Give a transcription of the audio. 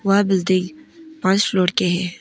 वह बिल्डिंग पांच फ्लोर के है।